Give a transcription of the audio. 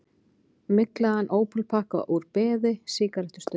Myglaðan ópalpakka úr beði, sígarettustubb.